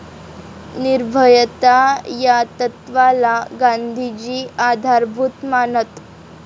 निर्भयता या तत्वाला गांधीजी आधारभूत मानत.